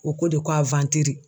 O ko de ko